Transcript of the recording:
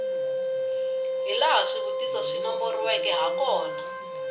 hilaha swivutiso swi nomboriweke hakona